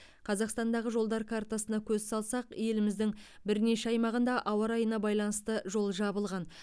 қазақстандағы жолдар картасына көз салсақ еліміздің бірнеше аймағында ауа райына байланысты жол жабылған